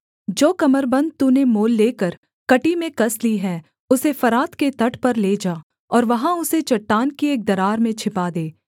जो कमरबन्द तूने मोल लेकर कमर में कस ली है उसे फरात के तट पर ले जा और वहाँ उसे चट्टान की एक दरार में छिपा दे